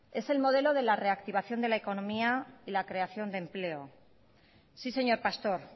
es el modelo de la reactivación de la economía y la creación de empleo sí señor pastor